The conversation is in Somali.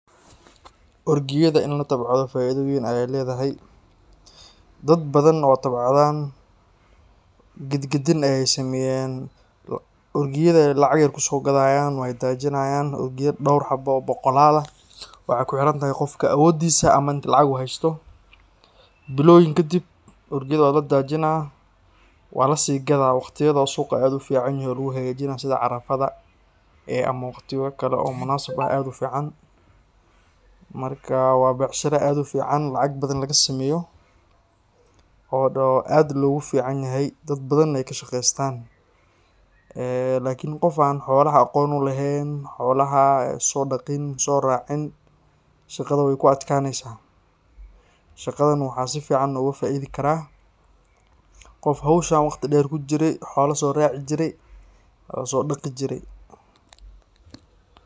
Orgiyadha in latabcado faido bathan weyn ay ledahay. Dad bathan oo tabcadan gadgadin ay sameyan, orgiyadha ay lacag yar kusogadayan way dajinayan orgiya dowr xaba oo boqolal ah waxey kuxirantahay qofka awodisa ama inta lacag ah uu haysto. Biloyin kadib orgiyadha waladajinaah walasigadah waqtiyadha oo suqa ad uficanyihin aa luguhagajinaah sida carafada ama waqtiyo kale oo munasab eh ad ufican. Marka wa becsharo ad ufican lacag bathan lagasameyoh oo ad loguficanyahay, dad bathan ay kashaqestan. Eee lakin qof an xolaha aqon ulehen xolaha soracin sodaqin, shaqada weykuadkaneysaah , shaqadan waxa sifican ogafaidi karah qof howshan waqti dher kujire xola soraci jire oo sodaqi jire.